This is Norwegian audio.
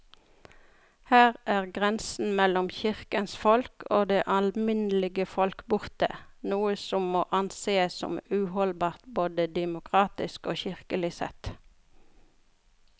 Her er grensen mellom kirkens folk og det alminnelige folk borte, noe som må ansees som uholdbart både demokratisk og kirkelig sett.